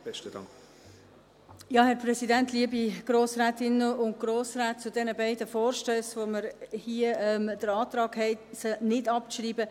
Zu diesen beiden Vorstössen , zu denen wir hier den Antrag haben, sie nicht abzuschreiben: